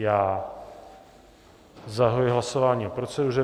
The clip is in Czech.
Já zahajuji hlasování o proceduře.